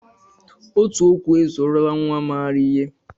Otu okwu ezuorola nnwa maara ihe